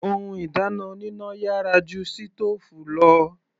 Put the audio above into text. Ohun ìdáná oníná yàrá ju sítòòfù lọ.